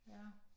Ja